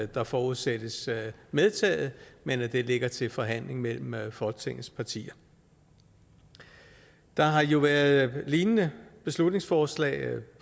der forudsættes medtaget men at det ligger til forhandling mellem folketingets partier der har jo været lignende beslutningsforslag